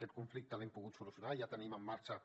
aquest conflicte l’hem pogut solucionar i ja tenim en marxa